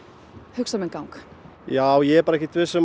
hugsa minn gang já ég er ekkert viss um